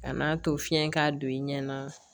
Ka n'a to fiɲɛ k'a don i ɲɛna